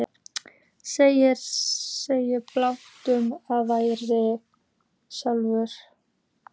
Eða segja blákalt að ég væri sautján?